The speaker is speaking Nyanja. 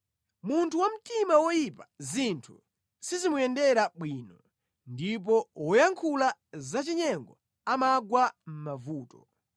Munthu wamtima woyipa zinthu sizimuyendera bwino; ndipo woyankhula zachinyengo amagwa mʼmavuto.